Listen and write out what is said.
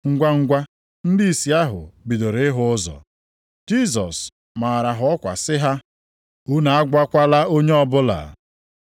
Ngwangwa ndị ìsì ahụ bidoro ịhụ ụzọ. Jisọs maara ha ọkwa sị ha “Unu agwakwala onye ọbụla.”